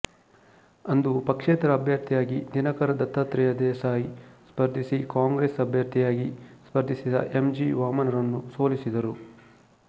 ಅಂದು ಪಕ್ಷೇತರ ಅಭ್ಯರ್ಥಿಯಾಗಿ ದಿನಕರ ದತ್ತಾತ್ರೇಯ ದೇಸಾಯಿ ಸ್ಫರ್ಧಿಸಿ ಕಾಂಗ್ರೆಸ್ ಅಭ್ಯರ್ಥಿಯಾಗಿ ಸ್ಪರ್ಧಿಸಿದ್ದ ಎಂ ಜಿ ವಾಮನರನ್ನು ಸೋಲಿಸಿದರು